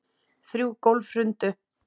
Þrjú gólf hrundu.